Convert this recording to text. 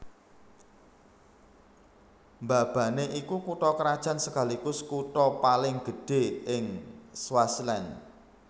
Mbabane iku kutha krajan sekaligus kutha paling gedhé ing Swaziland